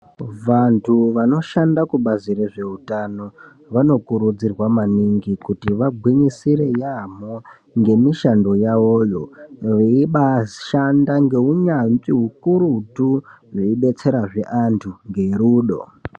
Vantu vanoshande kubazi rezveutano vanokurudzirwa maningi kuti vagwinyisire yaamho, ngemishando yavoyo veibashanda ngeunyanzvi hukurutu veibetserazve antu ngerudo.